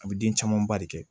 A bɛ den camanba de kɛ